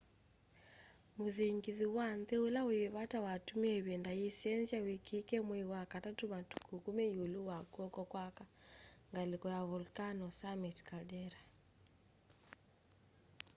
muthingithu wa nthi ula wi vata watumie ivinda yiisenzya weekikie mwei wa katatu matuku 10 yiulu wa kw'oko kwa aka ngaliko ya volcano summit caldera